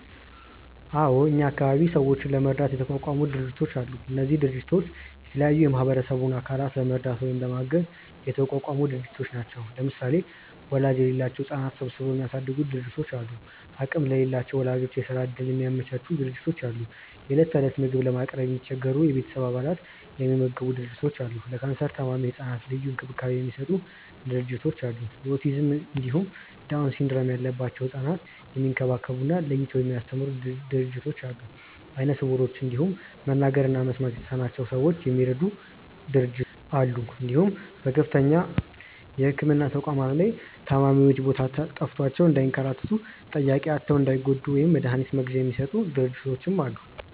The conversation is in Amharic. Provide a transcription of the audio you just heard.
አዎ እኛ አካባቢ ሰዎችን ለመርዳት የተቋቋሙ ድርጅቶች አሉ። እነዚህ ድርጅቶች የተለያዩ የማህበረሰቡን አካላት ለመርዳት ወይም ለማገዝ የተቋቋሙ ድርጅቶች ናቸው። ለምሳሌ ወላጅ የሌላቸውን ህጻናት ሰብስበው የሚያሳድጉ ድርጅቶች አሉ፣ አቅም ለሌላቸው ወላጆች የስራ እድል የሚያመቻቹ ድርጅቶች አሉ፣ የእለት እለት ምግብ ለማቅረብ የሚቸገሩ የቤተሰብ አባላትን የሚመግቡ ድርጅቶች አሉ፣ ለካንሰር ታማሚ ህጻናት ልዩ እንክብካቤ የሚሰጡ ድርጅቶች አሉ፣ የኦቲዝም እንዲሁም ዳውን ሲንድረም ያለባቸውን ህጻናት የሚንከባከቡ እና ለይተው የሚያስተምሩ ድርጅቶች አሉ፣ አይነ ስውሮችን እንዲሁም መናገር እና መስማት የተሳናቸውን ሰዎች የሚረዱ ድርጅቶች አሉ እንዲሁም በከፍተኛ የህክምና ተቋማት ላይ ታማሚዎች ቦታ ጠፍቷቸው እንዳይንከራተቱ፣ ጠያቂ አጥተው እንዳይጎዱ እና መድሀኒት መግዣ የሚሰጡ ድርጅቶችም አሉ።